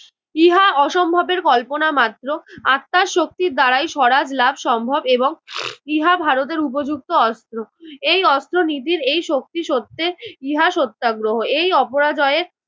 ইহা অসম্ভবের কল্পনা মাত্র। আত্মার শক্তির দ্বারাই সরাজ লাভ সম্ভব এবং ইহা ভারতের উপযুক্ত অস্ত্র। এই অস্ত্রনীতির এই শক্তি সত্বে ইহা সত্যাগ্রহ। এই অপরাজয়ের